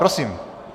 Prosím.